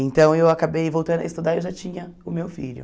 Então eu acabei voltando a estudar e eu já tinha o meu filho.